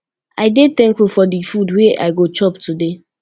i dey thankful for di food wey i go chop today